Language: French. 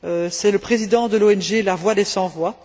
C'est le président de l'ONG La Voix des Sans Voix.